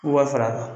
Wa fara